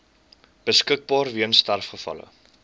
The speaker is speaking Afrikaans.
beskikbaar weens sterfgevalle